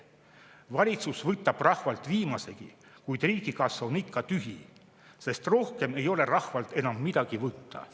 Valitsus võtab rahvalt viimasegi, kuid riigikassa on ikka tühi, sest rohkem ei ole rahvalt enam midagi võtta.